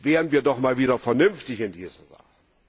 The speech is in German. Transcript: Werden wir doch mal wieder vernünftig in dieser Sache!